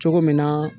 Cogo min na